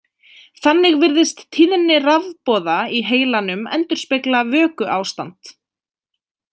Þannig virðist tíðni rafboða í heilanum endurspegla vökuástand.